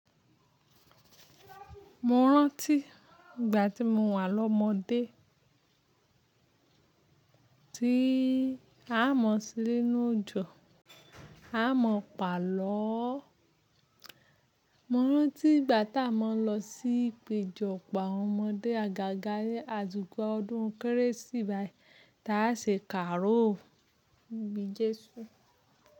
Mo rántí ìgbà tí mo wà lọ́mọdé, tí a mọ̀ se ninu òjò, a mọ pàlọ́. Mo rántí ìgbà tá a mọ lọ sí ìpéjọpọ̀ àwọn ọmọdé àgàgà àsìkò ọdún kérésì bayi. Tá a ṣe kàró ibi Jésù.